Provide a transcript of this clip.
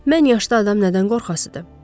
Mən yaşda adam nədən qorxasıdır?